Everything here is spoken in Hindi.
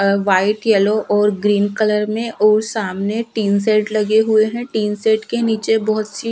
अ व्हाइट येलो और ग्रीन कलर में ओर सामने टीन सेट लगे हुए हैं टीन सेट के नीचे बहोत सी--